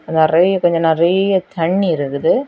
நெறியா கொன்ஜோ நெறியா தண்ணி இருக்குது.